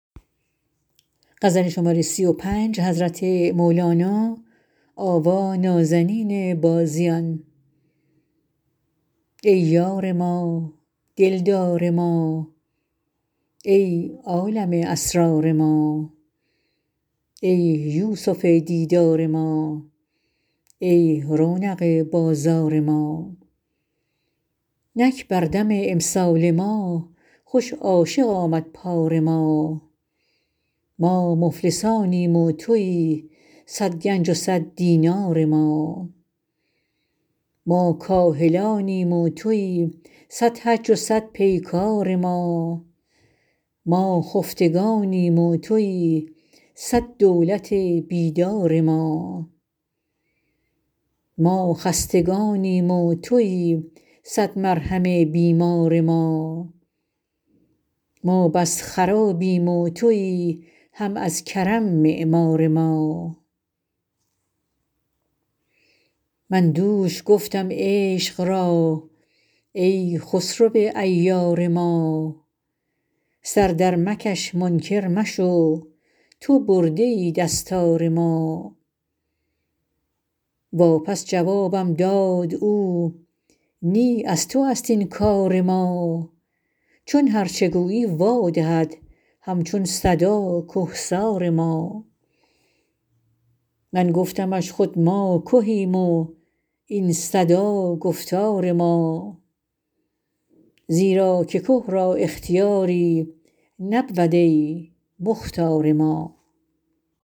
ای یار ما دل دار ما ای عالم اسرار ما ای یوسف دیدار ما ای رونق بازار ما نک بر دم امسال ما خوش عاشق آمد پار ما ما مفلسانیم و تویی صد گنج و صد دینار ما ما کاهلانیم و تویی صد حج و صد پیکار ما ما خفتگانیم و تویی صد دولت بیدار ما ما خستگانیم و تویی صد مرهم بیمار ما ما بس خرابیم و تویی هم از کرم معمار ما من دوش گفتم عشق را ای خسرو عیار ما سر درمکش منکر مشو تو برده ای دستار ما واپس جوابم داد او نی از توست این کار ما چون هرچ گویی وا دهد هم چون صدا که سار ما من گفتمش خود ما کهیم و این صدا گفتار ما زیرا که که را اختیاری نبود ای مختار ما